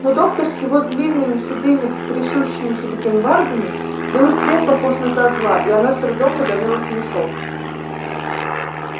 но доктор с его длинными седыми трясущимися бакенбардами был и впрямь похож на козла и она с трудом подавила смешок